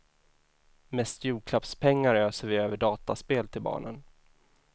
Mest julklappspengar öser vi över dataspel till barnen.